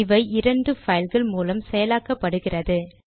இவை இரண்டு பைல்கள் மூல செயலாக்கப்படுகிறது